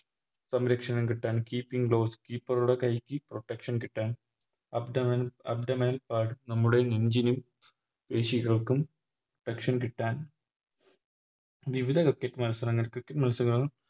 സംരക്ഷണം കിട്ടാൻ Keeping gloves keeper ടെ കൈക്ക് Protection കിട്ടാൻ Abdomen abdomen pad നമ്മുടെ നെഞ്ചിനും പേശികൾക്കും Protection കിട്ടാൻ വിവിധ Cricket മത്സരങ്ങൾക്ക് Cricket മത്സര